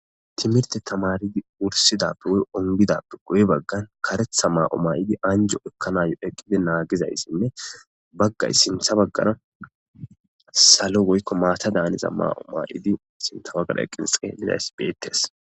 Timirte tamaridi wursidappe woyikko ongidappe guye baggan karettaa maa'iyo maa'idi anjo ekkanayo eqqidi naagizayssinne baggay sintta baggara salo woyikko maata daaniza maa'iyo ma'idi sintta baggara eqqi xelliza asay beettees.